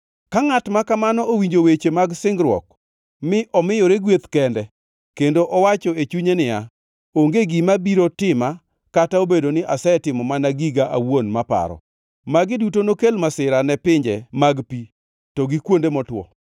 Ka ngʼat ma kamano owinjo weche mag singruok mi omiyore gweth kende kendo owacho e chunye niya, “Onge gima biro tima kata obedo ni asetimo mana giga awuon maparo.” Magi duto nokel masira ne pinje mag pi to gi kuonde motwo.